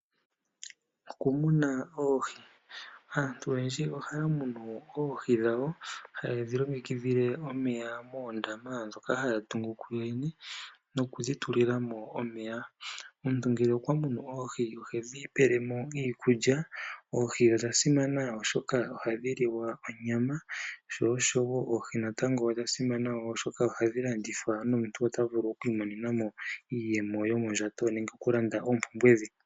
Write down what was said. Okumuna oohi Aantu oyendji ohaya munu oohi dhawo hayedhi longekidhile omeya moondama dhoka haya tungu kuyo yene, nokudhi tulilamo omeya. Omuntu ngele okwa munu oohi ohedhi pelemo iikulya. Oohi odha simana oshoka ohadhi liwa onyama oshowo oohi natango odha simana woo oshoka ohadhi landithwa po nomuntu ota vulu okwii monena iiyemo yomondjato nenge oku landa oompumbwe dhe.